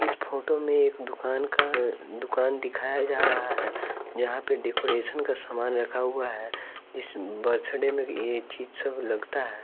इस फोटो में एक दुकान का अ दुकान दिखाया जा रहा है जहाँ पर डेकोरेशन का सामान रखा हुआ है इस बर्थडे में ये चीज सब लगता है।